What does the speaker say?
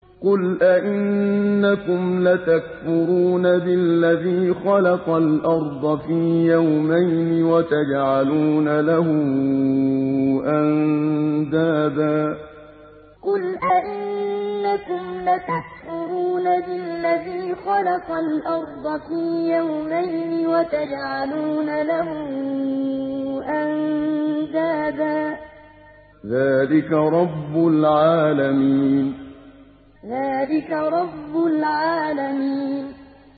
۞ قُلْ أَئِنَّكُمْ لَتَكْفُرُونَ بِالَّذِي خَلَقَ الْأَرْضَ فِي يَوْمَيْنِ وَتَجْعَلُونَ لَهُ أَندَادًا ۚ ذَٰلِكَ رَبُّ الْعَالَمِينَ ۞ قُلْ أَئِنَّكُمْ لَتَكْفُرُونَ بِالَّذِي خَلَقَ الْأَرْضَ فِي يَوْمَيْنِ وَتَجْعَلُونَ لَهُ أَندَادًا ۚ ذَٰلِكَ رَبُّ الْعَالَمِينَ